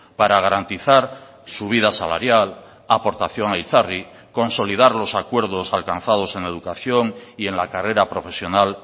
para garantizar subida salarial aportación a itzarri consolidar los acuerdos alcanzados en educación y en la carrera profesional